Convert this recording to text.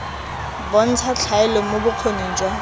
bontsha tlhaelo mo bokgoning jwa